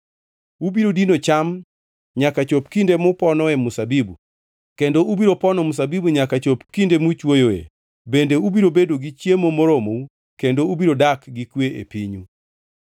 Ubiro dino cham nyaka chop kinde muponoe mzabibu kendo ubiro pono mzabibu nyaka chop kinde muchwoyoe bende ubiro bedo gi chiemo moromou kendo ubiro dak gi kwe e pinyu.